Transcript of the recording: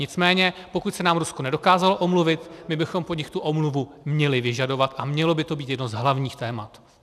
Nicméně pokud se nám Rusko nedokázalo omluvit, my bychom po nich tu omluvu měli vyžadovat a mělo by to být jedno z hlavních témat.